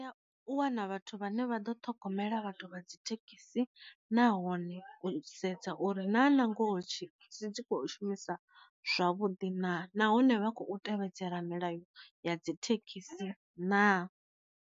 U wana vhathu vhane vha ḓo ṱhogomela vhathu vha dzi thekhisi nahone u sedza uri na nangoho dzi kho shumisa zwavhuḓi na, nahone vha kho tevhedzela milayo ya dzi thekhisi na.